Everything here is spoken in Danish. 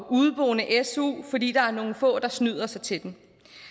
udeboende fordi der er nogle få der snyder sig til den